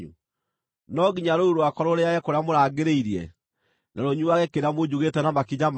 No nginya rũũru rwakwa rũrĩĩage kĩrĩa mũrangĩrĩirie, na rũnyuuage kĩrĩa munjugĩte na makinya manyu?”